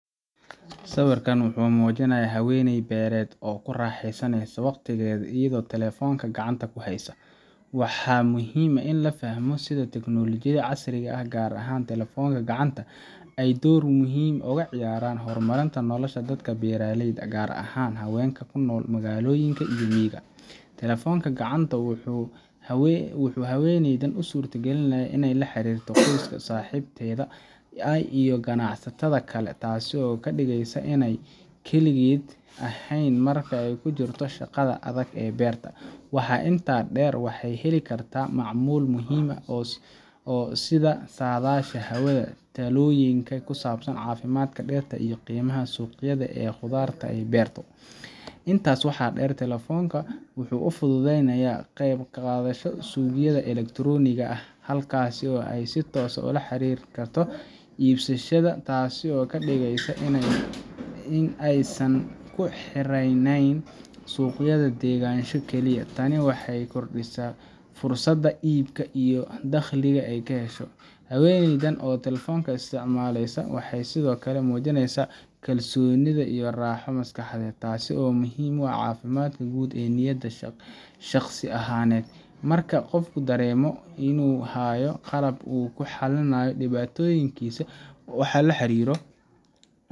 Sawirkan wuxuu muujinayaa haweeney beereed oo ku raaxaysanaysa waqtigeeda iyadoo telefoonka gacanta ku haysa. Waxaa muhiim ah in la fahmo sida teknoolajiyada casriga ah, gaar ahaan telefoonada gacanta, ay door weyn uga ciyaarayaan horumarinta nolosha dadka beeralayda ah, gaar ahaan haweenka ku nool magaalooyinka iyo miyiga. Telefoonka gacanta wuxuu haweeneydan u suurtagelinayaa inay la xiriirto qoyska, saaxiibada, iyo ganacsatada kale, taasoo ka dhigaysa inaysan kaligeed ahayn marka ay ku jirto shaqada adag ee beerta. Waxaa intaa dheer, waxay ka heli kartaa macluumaad muhiim ah sida saadaasha hawada, talooyin ku saabsan caafimaadka dhirta, iyo qiimaha suuqyada ee khudaarta ay beerto. waxaa dheer, telefoonka wuxuu u fududeeyaa inay ka qayb qaadato suuqyada elektaroonigga ah, halkaas oo ay si toos ah ula xiriiri karto iibsadayaasha, taasoo ka dhigaysa in aysan ku xirnayn suuqyada deegaanka oo kaliya. Tani waxay kordhisaa fursadaha iibka iyo dakhliga ay hesho. Haweeneydan oo telefoonka isticmaalaysa waxay sidoo kale muujinaysaa kalsoonida iyo raaxo maskaxeed, taasoo muhiim u ah caafimaadka guud iyo niyadda shaqsi ahaaneed. Marka qofku dareemo inuu hayo qalab uu ku xalliyo dhibaatooyinkiisa ama uu la xiriiro,